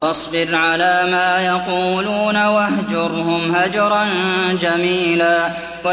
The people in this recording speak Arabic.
وَاصْبِرْ عَلَىٰ مَا يَقُولُونَ وَاهْجُرْهُمْ هَجْرًا جَمِيلًا